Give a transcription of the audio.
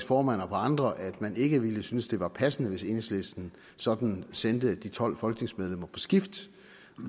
formand og på andre at man ikke ville synes det var passende hvis enhedslisten sådan sendte de tolv folketingsmedlemmer på skift